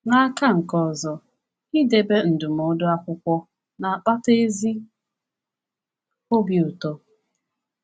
N’aka nke ọzọ, idebe ndụmọdụ akwụkwọ na-akpata ezi obi ụtọ.